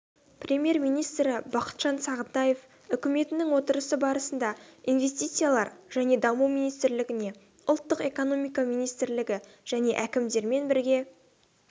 премьер-министрі бақытжан сағынтаев үкіметінің отырысы барысында инвестициялар және даму министрлігіне ұлттық экономика министрлігі және әкімдермен бірге